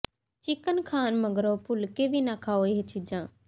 chicken ਖਾਣ ਮਗਰੋਂ ਭੁੱਲ ਕੇ ਵੀ ਨਾ ਖਾਓ ਇਹ ਚੀਜ਼ਾਂ